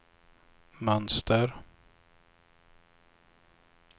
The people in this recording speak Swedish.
mönster